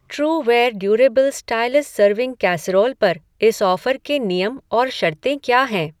Trueware durable stylus serving casserole पर इस offer के नियम और शर्तें क्या हैं?